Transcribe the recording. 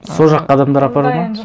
сол жаққа адамдар апару ма